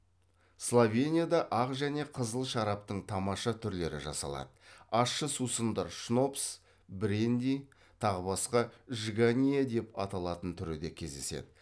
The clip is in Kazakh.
словенияда ақ және қызыл шараптың тамаша түрлері жасалады ащы сусындар шнопс бренди тағы басқа жганье деп аталатын түрі де кездеседі